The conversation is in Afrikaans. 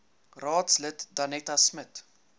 raadslid danetta smit